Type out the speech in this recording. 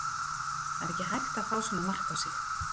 Það er ekki hægt að fá svona mark á sig.